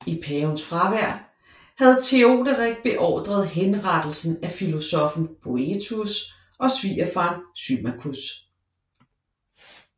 I pavens fravær havde Teoderik beordret henrettelsen af filosoffen Boethius og svigerfaren Symmachus